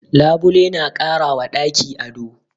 Labule na kara wa ɗaki ado.